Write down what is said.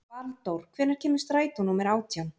Valdór, hvenær kemur strætó númer átján?